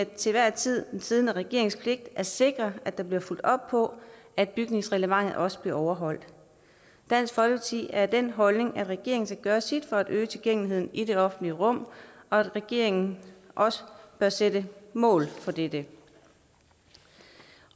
til hver en tid er den siddende regerings pligt at sikre at der bliver fulgt op på at bygningsreglementet også bliver overholdt dansk folkeparti er af den holdning at regeringen skal gøre sit for at øge tilgængeligheden i det offentlige rum og at regeringen også bør sætte mål for dette